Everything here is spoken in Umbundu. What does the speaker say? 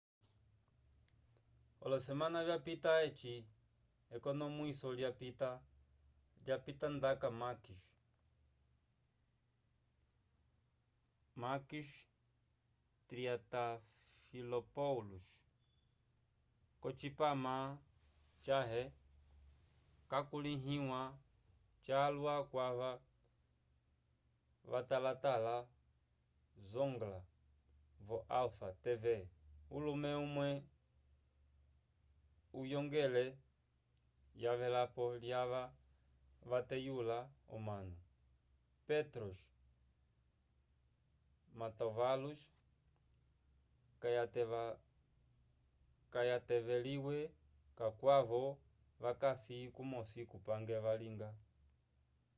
olosemana vyapita eci ekonomwiso lyapita lapitandaka makis triantafylopoulos k'ocipama cãhe cakulĩhiwa calwa kwava vatalatala zoungla vo alpha tv ulume umwe wohongele yavelapo lyava vateyula omanu petros mantouvalos kayataveliwile kakwavo vakasi kumosi kupange valinga